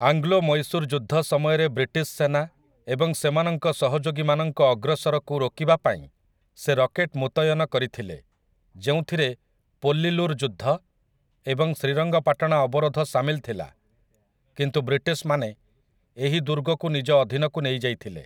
ଆଙ୍ଗ୍ଲୋମୈଶୂର୍ ଯୁଦ୍ଧ ସମୟରେ ବ୍ରିଟିଶ ସେନା ଏବଂ ସେମାନଙ୍କ ସହଯୋଗୀମାନଙ୍କ ଅଗ୍ରସରକୁ ରୋକିବାପାଇଁ ସେ ରକେଟ୍ ମୁତୟନ କରିଥିଲେ, ଯେଉଁଥିରେ ପୋଲ୍ଲିଲୁର ଯୁଦ୍ଧ ଏବଂ ଶ୍ରୀରଙ୍ଗପାଟଣା ଅବରୋଧ ସାମିଲ ଥିଲା, କିନ୍ତୁ ବ୍ରିଟିଶମାନେ ଏହି ଦୁର୍ଗକୁ ନିଜ ଅଧିନକୁ ନେଇଯାଇଥିଲେ ।